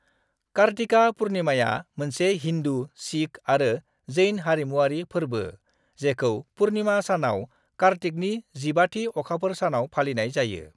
कार्तिका पुर्निमाया मोनसे हिन्दु, सिख आरो जैन हारिमुआरि फोरबो जेखौ पुर्निमा सानाव कार्तिकनि जिबाथि अखाफोर सानाव फालिनाय जायो।